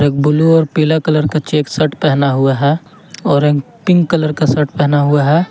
Blue और पीला colour का चेक शर्ट पहना हुआ है और पिंक कलर का शर्ट पहना हुआ है।